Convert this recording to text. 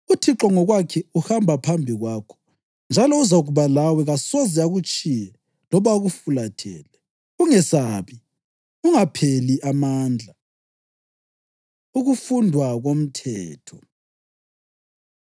UThixo ngokwakhe uhamba phambi kwakho njalo uzakuba lawe; kasoze akutshiye loba akufulathele. Ungesabi; ungapheli amandla.” Ukufundwa Komthetho